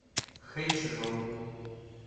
хэчжоу